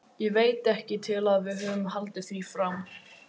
Ég veit ekki til að við höfum haldið því fram.